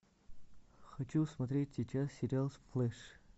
хочу смотреть сейчас сериал сплеш